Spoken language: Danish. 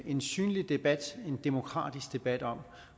en synlig debat en demokratisk debat om